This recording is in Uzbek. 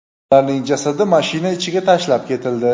ularning jasadi mashina ichiga tashlab ketildi.